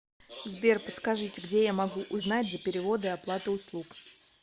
сбер подскажите где я могу узнать за переводы и оплаты услуг